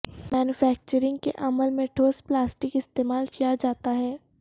manufacturing کے عمل میں ٹھوس پلاسٹک استعمال کیا جاتا ہے